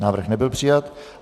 Návrh nebyl přijat.